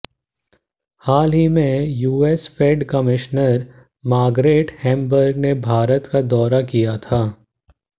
हाल में US Fed commissioner Margaret Hamburg ने भारत का दौरा किया था